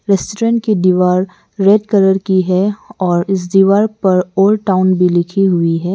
Restaurant की डीवाल red colour की है और इस दीवार पर ओल्ड टाऊन भी लिखी हुई है।